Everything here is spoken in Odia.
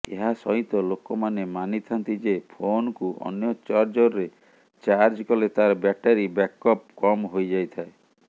ଏହାସହିତ ଲୋକମାନେ ମାନିଥାନ୍ତି ଯେ ଫୋନକୁ ଅନ୍ୟ ଚାର୍ଜରରେ ଚାର୍ଜ କଲେ ତାର ବ୍ୟାଟେରୀ ବ୍ୟାକଅପ କମ ହୋଇଯାଇଥାଏ